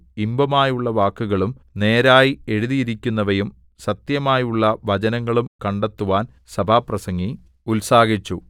ഇമ്പമായുള്ള വാക്കുകളും നേരായി എഴുതിയിരിക്കുന്നവയും സത്യമായുള്ള വചനങ്ങളും കണ്ടെത്തുവാൻ സഭാപ്രസംഗി ഉത്സാഹിച്ചു